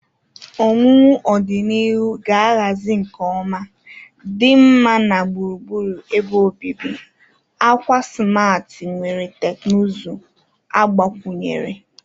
owuwu ọdịnihu ga-ahazi nke ọma, dinma na gburugburu ebe obibi, akwa simarti nwere teknụzụ agbakwunyere.